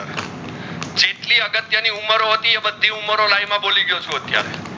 અગત્ય ની ઊમરો હતીઓ આ બધી ઊમરો લાઇન માં બોલી ગયો છું અતિયારે